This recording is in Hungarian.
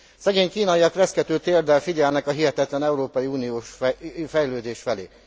Szegény kínaiak reszkető térddel figyelnek a hihetetlen európai uniós fejlődés felé.